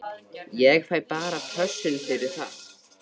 Ég fæ bara pössun fyrir það.